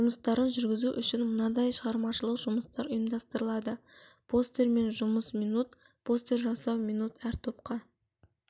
жұмыстарын жүргізу үшін мынадай шығармашылық жұмыстар ұйымдастырылады постермен жұмыс минут постер жасау минут әр топқа